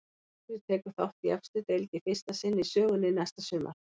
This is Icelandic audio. Leiknir tekur þátt í efstu deild í fyrsta sinn í sögunni næsta sumar.